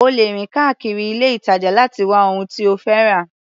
O lè rìn káàkiri ilé-ìtàjà láti wá ohun tí o fẹ́ rà.